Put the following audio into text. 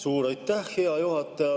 Suur aitäh, hea juhataja!